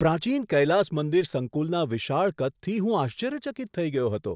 પ્રાચીન કૈલાસ મંદિર સંકુલના વિશાળ કદથી હું આશ્ચર્યચકિત થઈ ગયો હતો!